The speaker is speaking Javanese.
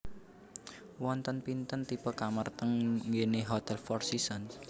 Wonten pinten tipe kamar teng nggene Hotel Four Seasons?